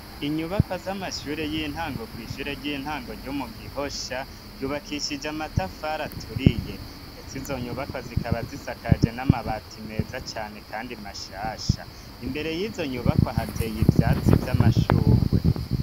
inyubakwa z'amashure y'intango kw’ishure ry'intango ryo mu gihosha, ryubakishije amatafari aturiye. ndetse izo nyubakwa zikaba zisakaje n'amabati meza cane kandi mashasha. imbere y'izo nyubakwa hateye ivyatsi vy'amashugwe.